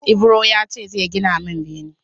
Ibro ya ce zai gina mun bene